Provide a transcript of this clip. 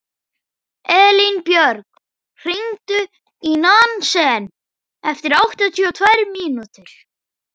Elínbjörg, hringdu í Nansen eftir áttatíu og tvær mínútur.